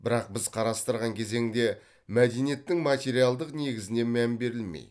бірақ біз қарастырған кезеңде мәдениеттің материалдық негізіне мән берілмей